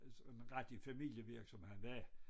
Øh en rigtig familievirksomhed som havde været